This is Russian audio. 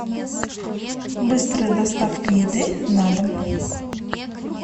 быстрая доставка еды на дом